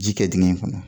Ji kɛ dingɛ in kɔnɔ